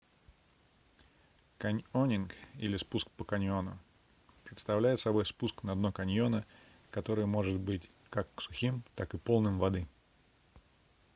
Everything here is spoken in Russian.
каньонинг или спуск по каньону представляет собой спуск на дно каньона которое может быть как сухим так и полным воды